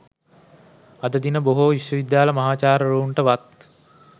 අද දින බොහෝ විශ්වවිද්‍යාල මහාචාර්යවරුන්ට වත්